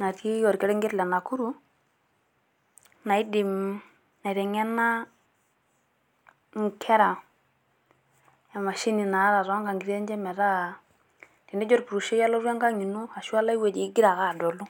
natii orkerenket le Nakuru naidim aiteng'ena enkera emashini naata too ng'ang'itie enye metaa tenijo orpurrushei alotu Engang' ino egira ake adolu.